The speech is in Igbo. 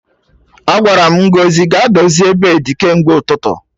Agwara m Ngozi ga-dozie beedi kemgbe ụtụtụ